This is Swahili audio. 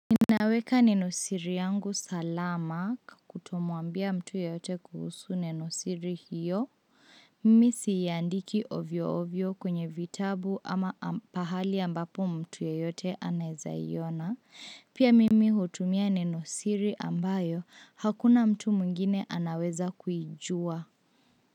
Ninaweka neno siri yangu salama kutomuambia mtu yote kuhusu neno siri hiyo, mimi siandiki ovyo ovyo kwenye vitabu ama pahali ambapo mtu yote anawezaiona, pia mimi hutumia neno siri ambayo hakuna mtu mwingine anaweza kuijua.